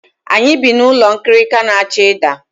Anyị bi n'ụlọ nkirika na-achọ ịda.